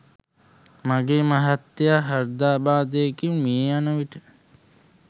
මගේ මහත්මයා හෘදයාබාධයකින් මිය යන විට